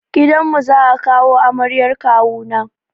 Gidan mu za a kawo amaryar kawu na.